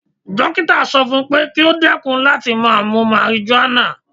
Dókítà sọ fún pé kí ó dẹ́kun láti máa mu marijuana.